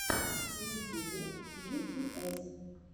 в ютюбе джитиэс